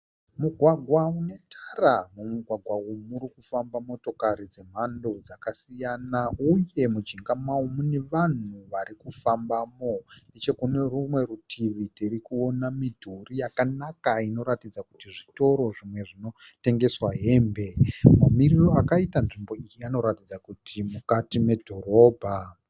Mugwagwa une tara, mu gwagwa umu murikufamba motokari dzemhando dzakasiyana uye mujinga mao mune vanhu varikufambamo. nechekune rumwe rutivi tiri kuona midhori yakanaka inoratidza kuti zvitoro zvimwe zvinotengesa hembe mamiriro akaita nzvimbo iyi anoratidza kuti mukati medhorobha.